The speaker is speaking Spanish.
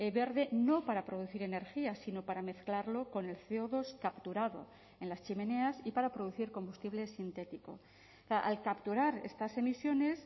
verde no para producir energía sino para mezclarlo con el ce o dos capturado en las chimeneas y para producir combustible sintético al capturar estas emisiones